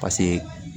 Paseke